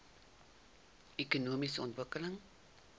ekonomiese ontwikkeling